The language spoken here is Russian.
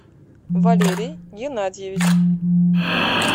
валерий геннадьевич